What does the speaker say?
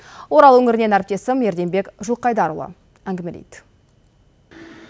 орал өңірінен әріптесім ерденбек жылқайдарұлы әңгімелейді